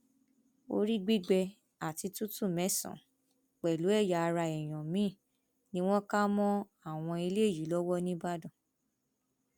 orí gbígbé àti tútù mẹsànán pẹlú ẹyà ara èèyàn míín ni wọn kà mọ àwọn eléyìí lọwọ nìbàdàn